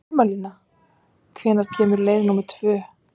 Sumarlína, hvenær kemur leið númer tvö?